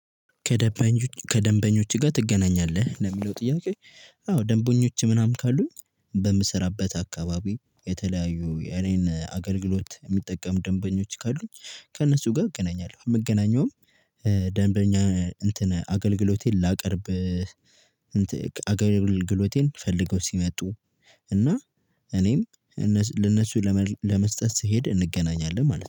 ከደንበኞች ጋር ትገናኛለህ ለሚለው ጥያቄ? አዎ ደንበኞች ምናምን ካሉኝ በምሰራበት አካባቢ የተለያዩ የኔን አገልግሎት የሚጠቀሙ ደንበኞች ካሉኝ ከእነሱ ጋር እገናኛለሁ። የምገናኘውም ደንበኛ እንትን አገልግሎቴን ላቀርብ። አገልግሎቴን ፈልገው ሲመጡ እና እኔም ለነሱ ለመስጠት ስሄድ እንገናኛለን ማለት ነው